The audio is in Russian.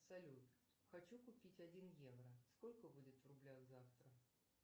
салют хочу купить один евро сколько будет в рублях завтра